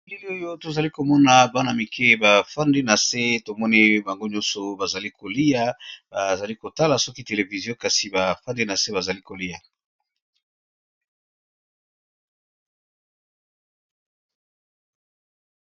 Bilili oyo tozali komona bana mike bafandi na se tomoni bango nyonso bazali kolia, bazali kotala soki television kasi bafandi na se bazali kolia.